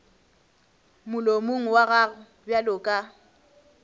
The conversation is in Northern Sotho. molomong wa gago bjalo ka